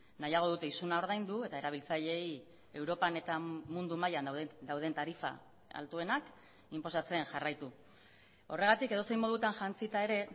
nahiago dute isuna ordaindu eta erabiltzaileei europan eta mundu mailan dauden tarifa altuenak inposatzen jarraitu horregatik edozein modutan jantzita ere